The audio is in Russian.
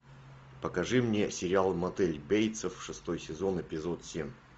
покажи мне сериал мотель бейтсов шестой сезон эпизод семь